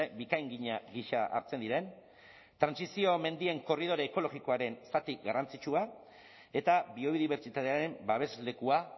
bikaingina gisa hartzen diren trantsizio mendien korridore ekologikoaren zati garrantzitsua eta biodibertsitatearen babeslekua